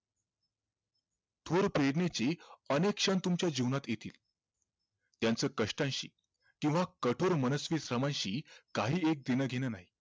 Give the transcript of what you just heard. थोर फेरणेची अनेक क्षण तुमच्या जीवनात येतील त्यांचं कष्टांशी किव्हा कठोर मनस्वी समाशी काही एक घेणं देणं नाही